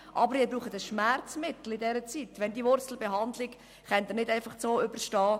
Aber während der Wurzelbehandlung brauchen Sie ein Schmerzmittel, sonst können Sie diese nicht einfach so überstehen.